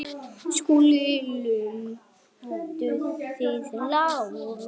SKÚLI: Lömduð þið Lárus?